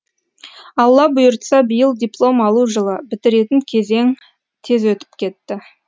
алла бұйыртса биыл диплом алу жылы бітіретін кезең тез өтіп кетті